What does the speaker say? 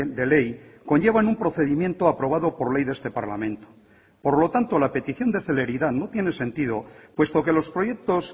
de ley conllevan un procedimiento aprobado por ley de este parlamento por lo tanto la petición de celeridad no tiene sentido puesto que los proyectos